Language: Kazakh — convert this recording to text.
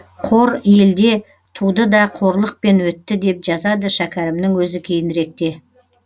қор елде туды да қорлықпен өтті деп жазады шәкәрімнің өзі кейініректе